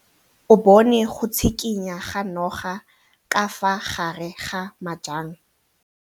O bone go tshikinya ga noga ka fa gare ga majang.